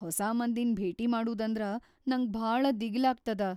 ಹೊಸಾ ಮಂದಿನ್ ಭೇಟಿ ಮಾಡೂದಂದ್ರ ನಂಗ್ ಭಾಳ ದಿಗಿಲಾಗ್ತದ.